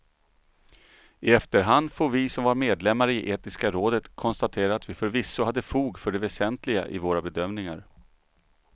I efterhand får vi som var medlemmar i etiska rådet konstatera att vi förvisso hade fog för det väsentliga i våra bedömningar.